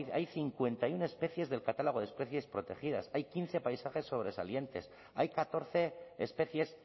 hay cincuenta y uno especies del catálogo de especies protegidas hay quince paisajes sobresalientes hay catorce especies